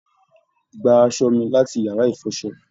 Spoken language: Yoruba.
Gbà aṣọ mí láti yára ìfọ́sọ̀!